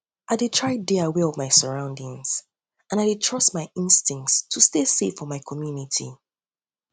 i dey try dey aware of my surroundings of my surroundings and i dey trust my instincts to stay safe for my community